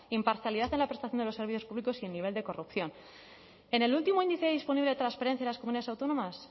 imparcialidad en la prestación de los servicios públicos y en nivel de corrupción en el último índice disponible de transparencia de las comunidades autónomas